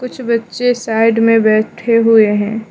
कुछ बच्चे साइड में बैठे हुए हैं।